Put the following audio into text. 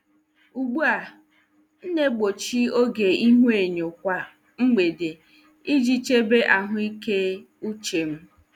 Ugbu a, m na-egbochi oge ihuenyo kwa mgbede iji chebe ahụike uche m.